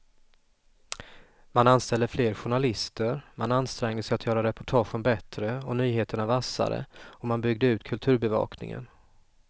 Man anställde fler journalister, man ansträngde sig att göra reportagen bättre och nyheterna vassare och man byggde ut kulturbevakningen.